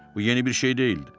Bu yeni bir şey deyildi.